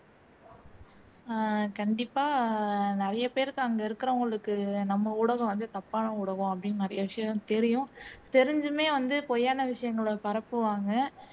உம் கண்டிப்பா நிறையபேருக்கு அங்க இருக்கிறவங்களுக்கு நம்ம ஊடகம் வந்து தப்பான ஊடகம் அப்படின்னு நிறைய விஷயம் தெரியும் தெரிஞ்சுமே வந்து பொய்யான விசயங்களை பரப்புவாங்க